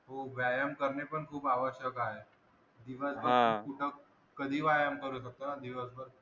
हो व्यायाम करणे पण खूप आवश्यक आहे दिवसभर कुठे कधीही व्यायाम करू शकतो ना दिवसभर.